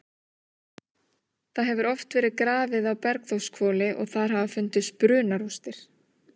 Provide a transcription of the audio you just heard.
Það hefur oft verið grafið á Bergþórshvoli og þar hafa fundist brunarústir.